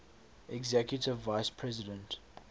executive vice president